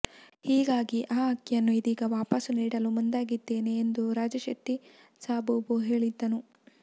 ಹೀಗಾಗಿ ಆ ಅಕ್ಕಿಯನ್ನು ಇದೀಗ ವಾಪಸ್ ನೀಡಲು ಮುಂದಾಗಿದ್ದೇನೆ ಎಂದು ರಾಜಶೆಟ್ಟಿ ಸಬೂಬು ಹೇಳಿದ್ದನು